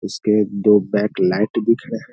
उसके दो back light दिख रहे हैं।